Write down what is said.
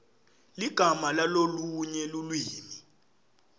ligama lalolunye lulwimi